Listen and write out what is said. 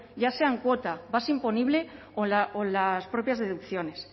ya sean cuota base imponible o las propias deducciones